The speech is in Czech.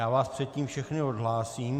Já vás předtím všechny odhlásím.